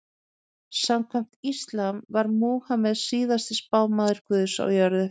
samkvæmt íslam var múhameð síðasti spámaður guðs á jörðu